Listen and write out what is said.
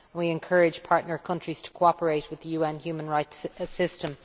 We encourage partner countries to cooperate with the UN human rights system.